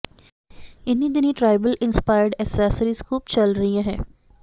ਇਨ੍ਹੀਂ ਦਿਨੀਂ tribal inspired accessories ਖੂਬ ਚਲ ਰਹੀ ਹੈ